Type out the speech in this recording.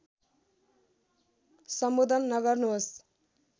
सम्बोधन नगर्नुहोस्